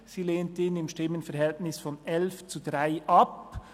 Sie lehnt ihn im Stimmenverhältnis von 11 zu 3 Stimmen ab.